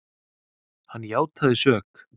Hann játaði sök.